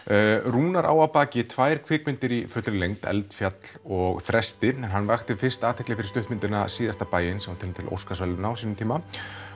Rúnar á að baki tvær kvikmyndir í fullri lengd eldfjall og Þresti hann vakti fyrst athygli fyrir stuttmyndina síðasta bæinn sem var tilnefnd til óskarsverðalauna á sínum tíma